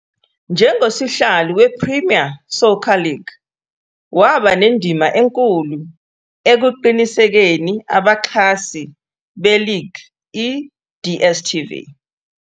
Njengosihlalo we-Premier Soccer League, waba nendima enkulu ekuqinisekiseni abaxhasi be-league, I-DSTv.